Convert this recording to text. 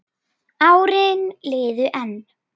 Árin liðu enn.